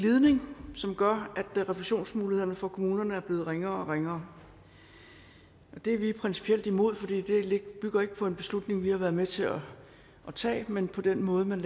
glidning som gør at refusionsmulighederne for kommunerne er blevet ringere og ringere det er vi principielt imod fordi det ikke bygger på en beslutning vi har været med til at tage men på den måde man